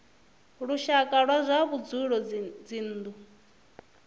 lushaka wa zwa vhudzulo dzinnu